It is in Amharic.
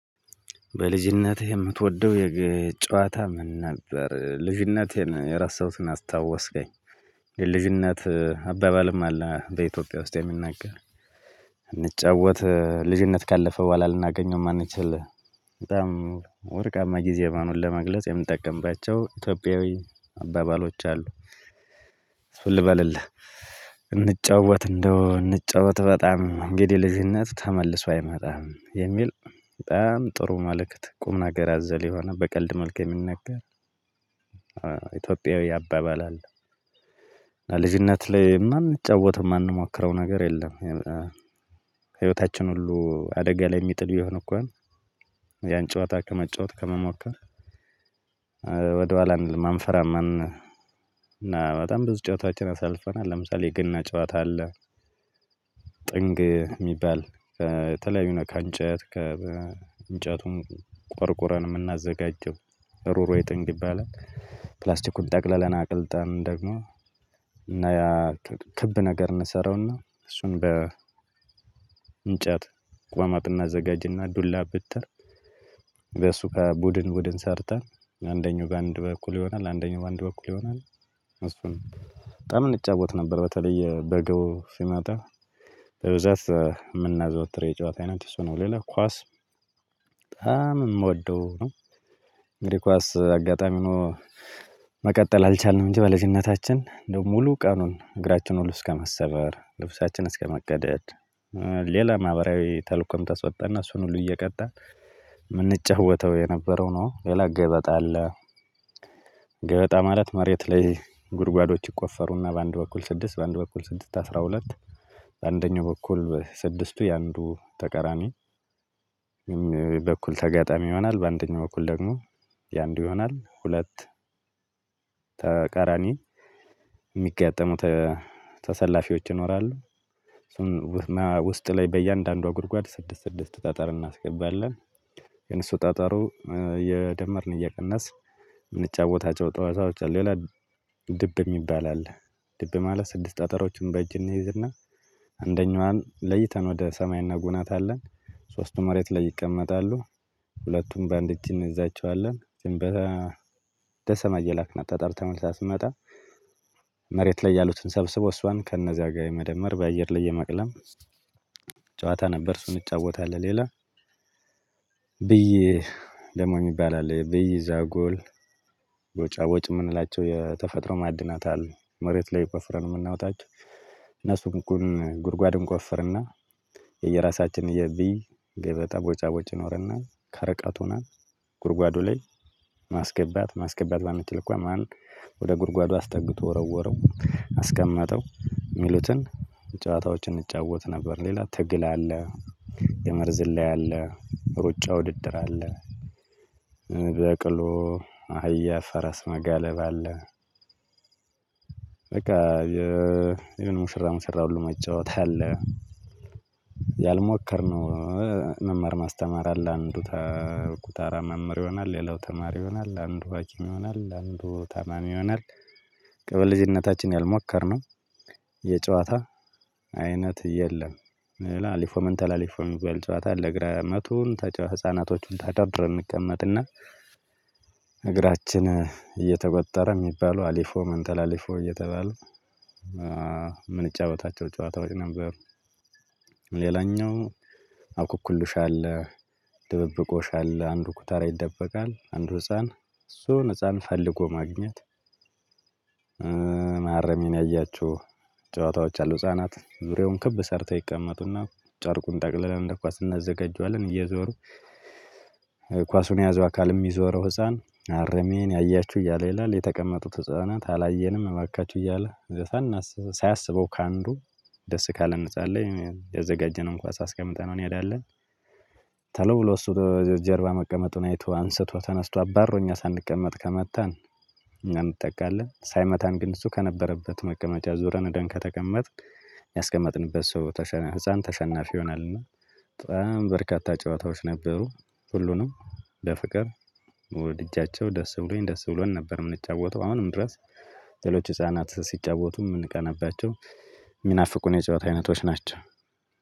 በልጅነትህ የምትወደው የግ ጨዋታ ምን? ነበር ልጅነቴን የረሳሁትን አስታወስከኝ። የልጅነት አባባልም አለ በኢትዮጵያ ውስጥ የሚናገር። እንጫወት ልጅነት ካለፈ በኋላ ልናገኘው የማንችል። በጣም ወርቃማ ጊዜ መሆኑን ለመግለጽ የምንጠቀምባቸው ኢትዮጵያዊ አባባሎች አሉ። ልበልልህ። እንጫወት እንደው እንጫወት በጣም እንግዲህ ልጅነት ተመልሶ አይመጣም የሚል። በጣም ጥሩ መልእክት ቁም ነገር ያዘለ የሆነ በቀልድ መልክ የሚነገር። ኢትዮጵያዊ አባባል አለ። ልጅነት ላይ የማንጫወት የማንሞክረው ነገር የለም። ህይወታችን ሁሉ አደጋ ላይ የሚጥል ቢሆን እኳን ያን ጨዋታ ከመጫወት ከመሞከር። ወደ ኋላ አንልም፣ አንፈራም። ማንን እና በጣም ብዙ ጨወታዎችን አሳልፈናል፤ ለምሳሌ የገና ጨወታ አለ። ጥንግ የሚባል፤ ከተለያዩ ከእንጨት ከ እንጨቱን ቆርቁረን የምናዘጋጀው የበረሮ ጥንግ ይባላል። ፕላስቲኩን ጠቅለለን አቅልጠን ደግሞ እና ያ ክብ ነገር እንሰራውና እሱን በ እንጨት። ቋማጥና እናዘጋጅና ዱላ ብትር በሱ ከቡድን ቡድን ሰርተን አንደኛው በአንድ በኩል ይሆናል አንደኛው በአንድ በኩል ይሆናል። አስፈሪ በጣም እንጫወት ነበር። በተለይ በጋው ሲመጣ በብዛት የምናዘወትር የጨዋታ ዐይነት እሱ ነው፤ ሌላ ኳስ በጣም የምወደው ነው። እንግዲህ ኳስ አጋጣሚ ሆኖ መቀጠል አልቻልንም እንጂ በልጅነታችን እንደው ሙሉ ቀኑን እግራችን ሁሉ እስከመሰበር ልብሳችን እስከመቀደድ። ሌላ ማህበራዊ ተልዕኮም ተሰጥቶን እሱን ሁሉን እየቀጣን ምንጫወተው የነበረው ነው። ሌላ ገበጣ አለ። ገበጣ ማለት መሬት ላይ ጉድጓዶች ይቆፈሩና በአንድ በኩል ስድስት በአንድ በኩል ስድስት አስራ ሁለት። በአንደኛው በኩል ስድስቱ የአንዱ ተቀራሚ። በኩል ተጋጣሚ ይሆናል በአንደኛው እኩል ደግሞ የአንዱ ይሆናል ሁለት ተቃራኒ የሚጋጠሙት ተሰላፊዎች ይኖራሉ። ውስጥ ላይ በእያንዳንዷ ጉድጓድ ስድስት ስድስት ጠጠር እናስገባለን፤ ግን እሱ ጠጠሩ የደመርን እየቀነስ የምንጫወታቸው ጨወታዎች አሉ፤ ሌላ ድብ የሚባል አለ። ድብ ማለት ስድስት ጠጠረዎችን በእጅ እንይዝና አንደኛዋን ለይተን ወደ ሰማይ እናጎናታለን። ሶስቱ መሬት ላይ ይቀመጣሉ ሁለቱም በአንድ እጅ እንይዛቸዋለን ድንበተ ደሰማ እየላክና ጠጠር ተመልሳ ስትመጣ። መሬት ላይ ያሉትን ሰብስቦ እሷን ከእነዚያ ጋር የመደመር በአየር ላይ የመቅለም ጨዋታ ነበር እሱን እጫወታለሁ ሌላ። ብዬ ደግሞ የሚባል አለ፤ ብዬ ዛጎል ጎጫጎጭ የምንላቸው የተፈጥሮ ማዕድናት አለ፤ መሬት ላይ ቆፍረን የምናወጣቸው። እነሱን ጉድጓድ እንቆፍርና የየራሳችንን የብይ ገበጣ ቦጫ ቦጭ ይኖርና ከርቀት ሁነን ጉድጓዱ ላይ ማስገባት ማስገባት ባመተለኳል ማን ጉድጓዱ አስጠግቶ ወረወረው አስቀመጠው የሚሉትን ጨወታዎችን እንጫወት ነበር፤ ሌላ ትግል አለ። ገመድ ዝላ አለ፣ ሩጫ ውድድር አለ። በቅሎ፣ አህያ፣ ፈረስ መጋለብ አለ፤ በቃ የሙሽራ ሙሽራ ሁሉ መጫወት አለ። ያልሞከርነው መመር ማስተማር አለ አንዱ ተጉታራ መምህር ይሆናል የሌላው ተማሪ ይሆናል አንዱ ሀኪም ይሆናል አንዱ ታማሚ ይሆናል። ከልጅነታችን ያልሞከርነው የጨዋታ አይነት የለም። ላሊፎመንታ ላሊፎም የሚባል ጨዋታ አለ ግን መቶን ህፃናቶችን ተደብረን እንቀመጥ እና እግራችን እየተበጠረ የሚባለው አሊፎ መንተል አሊፎ እየተባለ የምንጫወታቸው ጨዋታዎች ነበሩ። ሌላኛው አውኩኩልሻል ድብብቆሻል አንድ ኩታራ ይደበቃል አንድ ህፃን እሱን ህፃን ፈልጎ ማግኘት። ማረሜን ያያቸው ጨዋታዎች አሉ። ህፃናት ዙሬውም ክብ ሰርተው ይቀመጡና ጨርቁን ጠቅልለን እንደ ኳስ እናዘጋጃለን እየዞሩ። ኳሱን የያዘው አካል የሚዞረው ህፃን አረሜን ያያችሁ እያለ ይላል የተቀመጡት ህፃናት አላየንም እባካችሁ እያለ። ሳያስበው ከአንዱ ደስ ካለ ነፃ አለኝ ያዘጋጀነው እንኳን አስቀምጠነው እንሄዳለን። ብሎ እሱ ደረጃው ጀርባ መቀመጡን አይቶ አንስቶ ተነስቶ አባሮኝ ሳንቀመጥ ከመታን። እና እንጠቃለን ሳይመታን ግን እሱ ከነበረበት መቀመጫ ዞረን ወደን ከተቀመጥን። ያስቀመጥንበት ሰው ተሸናፊ ህፃን ተሸናፊ ይሆናል እና በጣም በርካታ ጨዋታዎች ነበሩ። ሁሉንም በፍቅር ወድጃቸው ደስ ብሎኝ ደስ ብሎን ነበር የምንጫወተው አሁንም ድረስ። ሌሎች ህፃናት ሲጫወቱ የምንቀነባቸው የሚናፍቁን የጨዋታ አይነቶች ናቸው።